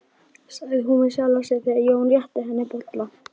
sagði hún við sjálfa sig, þegar Jón rétti henni bollann.